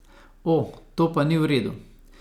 O, to pa ni v redu.